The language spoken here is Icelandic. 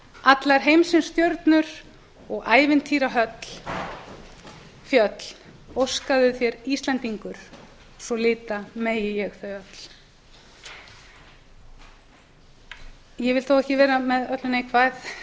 allar heimsins stjörnur og ævintýrafjöll óskaðu þér íslendingur svo lita megi ég þau öll losna ekki við skemað núna bs ég vil þó ekki vera með öllu neikvæð